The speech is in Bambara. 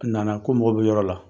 A na na ko mɔgɔ bɛ yɔrɔ la.